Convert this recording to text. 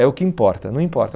É o que importa, não importa.